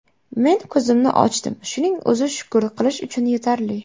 Men ko‘zimni ochdim, shuning o‘zi shukur qilish uchun yetarli.